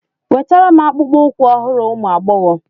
Wetara m akpụkpọ ụkwụ ọhụrụ ụmụ agbọghọ